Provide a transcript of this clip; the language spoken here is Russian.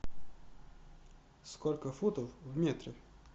сколько футов в метре